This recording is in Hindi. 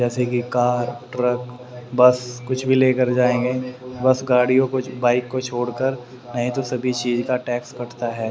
जैसे कि कार ट्रक बस कुछ भी लेकर जाएंगे बस गाड़ियों को बाइक को छोड़कर नहीं तो सभी चीज का टैक्स कटा है।